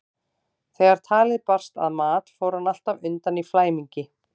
Þegar talið barst að mat fór hann alltaf undan í flæmingi.